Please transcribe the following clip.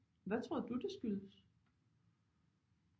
Hvad tror du det skyldes